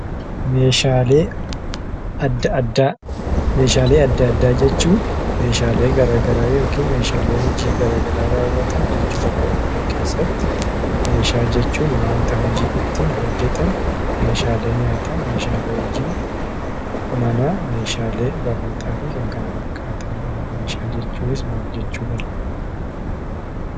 Meeshaalee adda addaa; meeshaalee adda addaa jechuun, meeshaalee garagaraa ykn meeshaalee hojii garagraa rawwaatan jechuun afaan oromoo keessatti meeshaa jechuun wanta hojiin ittin hojetamu meeshaalee nyaataa, meeshaalee hojii manaa, meeshaalee barnootafi Kan kana fakkaatanidha. Meeshaa jechuunis maal jechuudha?